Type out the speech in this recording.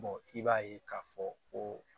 i b'a ye k'a fɔ ko